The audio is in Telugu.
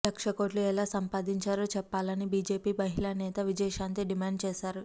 లక్షకోట్లు ఎలా సంపాదించారో చెప్పాలని బీజేపీ మహిళా నేత విజయశాంతి డిమాండ్ చేశారు